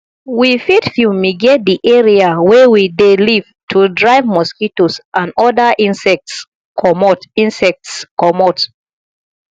we fit fumigate di area wey we dey live to drive mosquitoes and oda insects comot insects comot